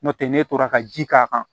N'o tɛ ne tora ka ji k'a kan